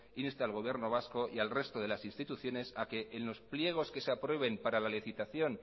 inste al gobierno vasco y al resto de las instituciones a que en los pliegos que se aprueben para la licitación